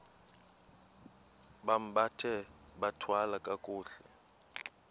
bambathe bathwale kakuhle